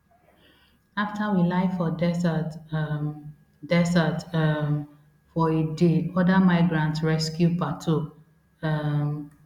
afta we lie for desert um desert um for a day oda migrants rescue pato um